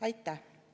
Aitäh!